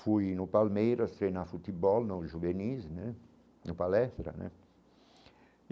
Fui no Palmeiras, treinar futebol no juvenis né no palestra né e.